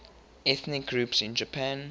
ethnic groups in japan